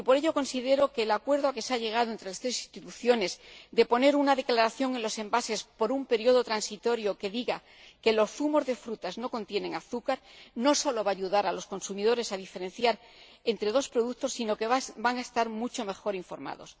Y, por ello, considero que el acuerdo a que se ha llegado entre las tres instituciones de poner una declaración en los envases, por un período transitorio, que diga que los zumos de frutas no contienen azúcar no sólo va a ayudar a los consumidores a diferenciar entre dos productos, sino que estos van a estar mucho mejor informados.